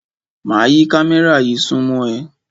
Máa yí kámẹ́rà yí súnmọ́ ẹ.